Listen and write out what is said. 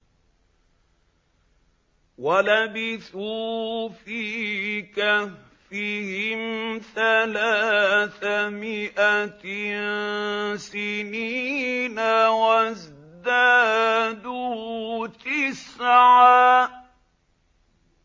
وَلَبِثُوا فِي كَهْفِهِمْ ثَلَاثَ مِائَةٍ سِنِينَ وَازْدَادُوا تِسْعًا